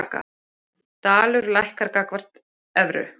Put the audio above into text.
Dalur lækkar gagnvart evru